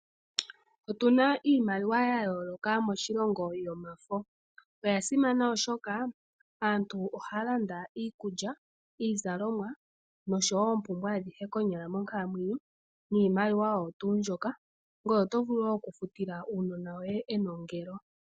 Otu na iimaliwa yayoolokathana moshilongo yomafo. Oya simana oshoka ohayi landa iikulya, iizalomwa nosho woo oku futa oompumbwe adhihe konyala monkalamwenyo. Ohayi longithwa woo okufuta omanongelo guunona.